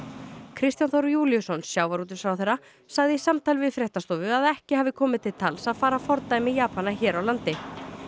Kristján Þór Júlíusson sjávarútvegsráðherra sagði í samtali við fréttastofu að ekki hafi komið til tals að fara að fordæmi Japana hér á landi